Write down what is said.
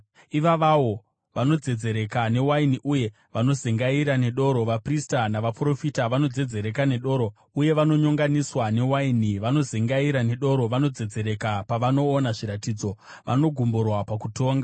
Ivavawo vanodzedzereka newaini uye vanozengaira nedoro: Vaprista navaprofita vanodzedzereka nedoro, uye vanonyonganiswa newaini; vanozengaira nedoro, vanodzedzereka pavanoona zviratidzo, vanogumburwa pakutonga.